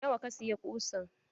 Nawa ka siya ƙusan?